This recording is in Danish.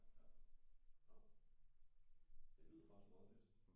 Ja nå det lyder faktisk meget fedt